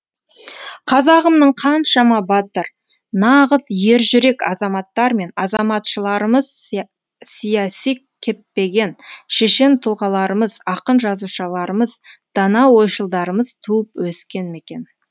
қазағымның қаншама батыр нағыз ержүрек азаматтар мен азаматшыларымыз сиясы кеппеген шешен тұлғаларымыз ақын жазушыларымыз дана ойшылдарымыз туып өскен мекен